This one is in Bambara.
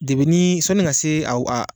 sɔnni ka se aw .